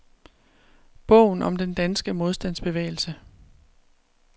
Bogen om den danske modstandsbevægelse.